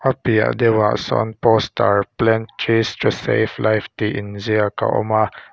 a piah lawk a sawn poster plant trees to save life tih in ziak a awm a.